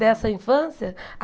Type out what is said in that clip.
Dessa infância?